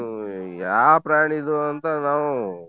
ಹ್ಮ್‌ ಯಾವ್ ಪ್ರಾಣಿ ಇದು ಅಂತ ನಾವ್.